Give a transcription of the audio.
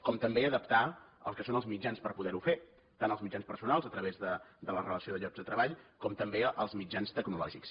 com també a adaptar el que són els mitjans per poder ho fer tant els mitjans personals a través de la relació de llocs de treball com també els mitjans tecnològics